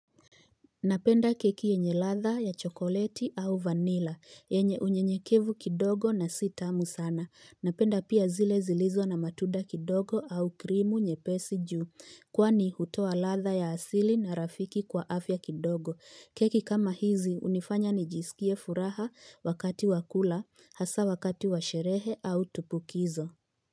Napenda keki yenye latha ya chokoleti au vanilla, yenye unyenyekevu kidogo na sitamu sana. Napenda pia zile zilizo na matunda kidogo au krimu nyepesi ju, kwani hutoa latha ya asili na rafiki kwa afya kidogo. Keki kama hizi hunifanya nijiskie furaha wakati wa kula, hasa wakati wa sherehe au tupukizo.